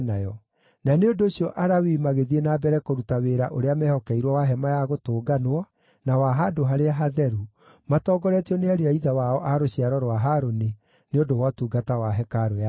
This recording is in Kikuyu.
Na nĩ ũndũ ũcio Alawii magĩthiĩ na mbere kũruta wĩra ũrĩa mehokeirwo wa Hema-ya-Gũtũnganwo, na wa Handũ-harĩa-Hatheru, matongoretio nĩ ariũ a ithe wao a rũciaro rwa Harũni, nĩ ũndũ wa ũtungata wa hekarũ ya Jehova.